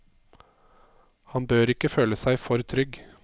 Han bør ikke føle seg for trygg.